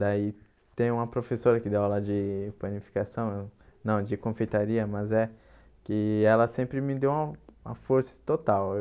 Daí tem uma professora que deu aula de panificação, não, de confeitaria, mas é que ela sempre me deu uma força total.